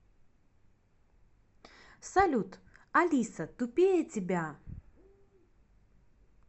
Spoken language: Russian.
салют алиса тупее тебя